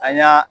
An y'a